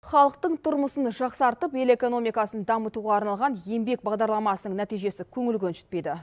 халықтың тұрмысын жақсартып ел экономикасын дамытуға арналған еңбек бағдарламасының нәтижесі көңіл көншітпейді